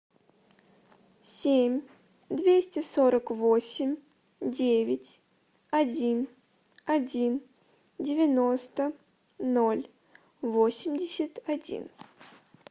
семь двести сорок восемь девять один один девяносто ноль восемьдесят один